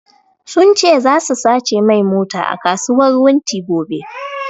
Sun ce zasu sace mai mota a kasuwar wunti gobe